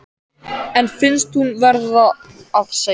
En finnst hún verða að segja